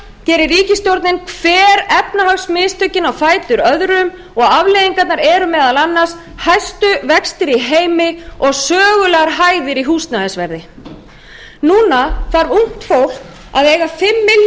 gerir ríkisstjórnin hver efnahagsmistökin á fætur öðrum og afleiðingarnar eru meðal annars hæstu vextir í heimi og sögulegar hæðir í húsnæðisverði núna þarf ungt fólk að eiga fimm milljónir í